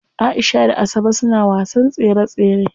Aisha da Asabe suna wasan tsere tsere.